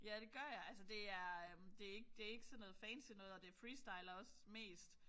Ja det gør jeg. Altså det er det ikk det er ikke sådan noget fancy noget og det jeg freestyler også mest